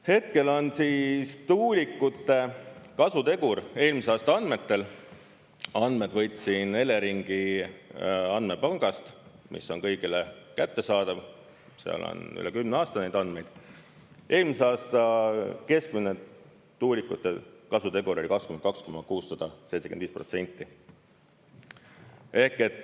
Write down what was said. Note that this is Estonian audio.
Hetkel on siis tuulikute kasutegur eelmise aasta andmetel – andmed võtsin Eleringi andmepangast, mis on kõigile kättesaadav, seal on üle 10 aasta neid andmeid –, eelmise aasta keskmine tuulikute kasutegur oli 22,675%.